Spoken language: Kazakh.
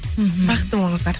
мхм бақытты болыңыздар